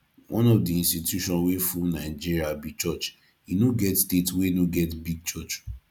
one of the institution wey full nigeria be church e no get state wey no get big church